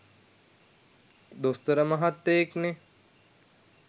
දොස්තර මහත්තයෙක්නේ.